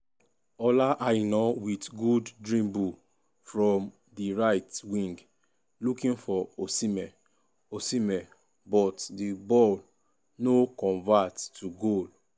ola aina wit gooddribblefrom di right wing looking for osihmen osihmen but di ball o convert to goal.